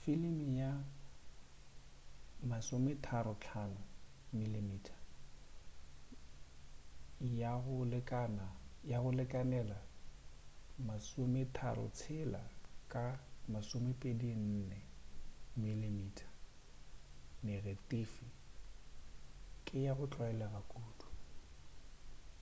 filimi ya 35 mm ya go lekanela 36 ka 24 mm negetifi ke ya go tlwaelega kudu